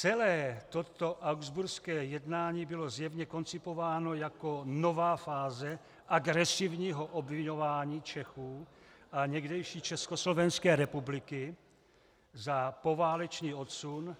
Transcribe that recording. Celé toto habsburské jednání bylo zjevně koncipováno jako nová fáze agresivního obviňování Čechů a někdejší Československé republiky za poválečný odsun,